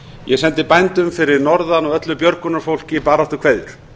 ég sendi bændum fyrir norðan og öllu björgunarfólki baráttukveðjur